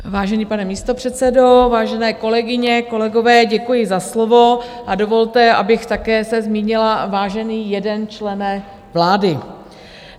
Vážený pane místopředsedo, vážené kolegyně, kolegové, děkuji za slovo, a dovolte, abych také se zmínila, vážený jeden člene vlády.